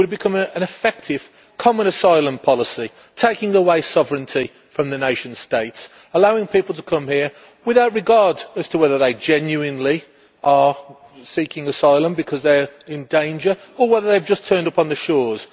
It would have become an effective common asylum policy, taking away sovereignty from the nation states, allowing people to come here with no regard as to whether they are genuinely seeking asylum because they are in danger, or whether they have just turned up on the shores.